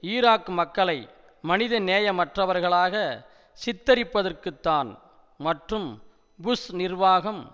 Iraq மக்களை மனித நேயமற்றவர்களாக சித்தரிப்பதற்குத்தான் மற்றும் புஷ் நிர்வாகம்